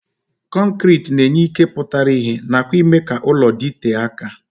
Kọnkriti na-enye ike pụtara ihe nakwa ime ka ụlọ dịtee aka.